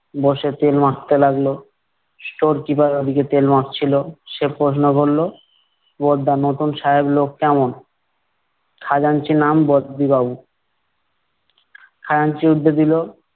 বসে তেল মাখতে লাগলো। store keeper ওদিকে তেল মাখছিলো, সে প্রশ্ন করলো, বড়দা, নতুন সাহেব লোক কেমন? খাজাঞ্চি নাম বদ্দিবাবু। খাজাঞ্চি উত্তর দিলো-